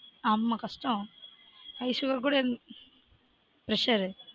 ஆமா கஸ்டம் highsugar கூட இருந்த presure